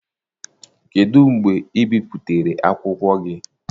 Kedụ mgbe e bipụtara akwụkwọ gị?